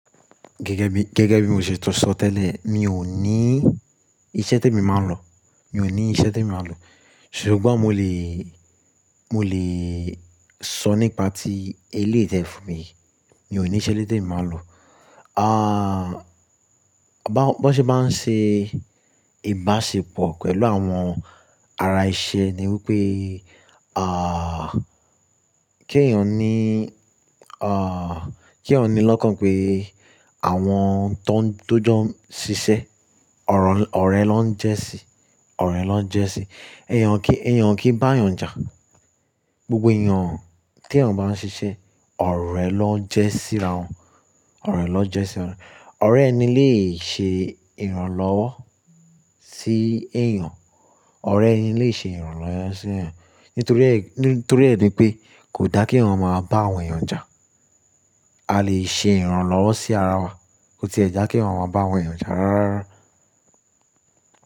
Gẹ́gẹ́ bí, gẹ́gẹ́ bí mo ṣe ti sọ tẹ́lẹ̀, mi ò ní iṣẹ́ témi máa ń lọ. Mi ò ní iṣẹ́ tí mo máa ń lọ. Ṣùgbọ́n mo lè, mo lè sọ nípa tí eléyìí tẹ́ fún mi. Mi ò ní iṣẹ́ ẹlẹ́yii témi máa ń lọ. Bo ṣe má ń ṣe ìbáṣepọ̀ pẹ̀lú àwọn ara iṣẹ́ ni wípé, ah, kí ẹ̀yin ò ní, ah, kí ẹ̀yán ní lọ́kàn pé àwọn tó ń, tó jọ ń ṣiṣẹ́ ọ̀rẹ́ lọ ń jẹ́ síi, ọ̀rẹ́ lọ ń jẹ́ síi. Ẹ̀yàn kí, ẹ̀yàn kí bá ẹ̀yàn jà. Gbogbo ẹ̀yàn tí ẹ̀yàn bá ń ṣiṣẹ́, ọ̀rẹ́ lọ jẹ́ síra wọn, ọ̀rẹ́ lọ jẹ́ síra wọn. Ọ̀rẹ́ ẹni lè ṣe ìrànlọ́wọ́ sí ẹ̀yàn, ọ̀rẹ́ ẹni lè ṣe ìrànlọ́wọ́ sí ẹ̀yàn. Nítorí ẹ ní pé kò dá kí ẹ̀yàn máa bá àwọn ẹ̀yàn jà. A lè ṣe ìrànlọ́wọ́ sí ara wa. Ko tiẹ̀ dá kí èyán máa bá àwọn ẹ̀yàn jà rárárá.